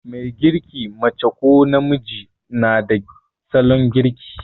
Mai girki, mace ko namiji, na da salon girki.